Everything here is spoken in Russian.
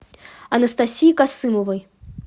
анастасии касымовой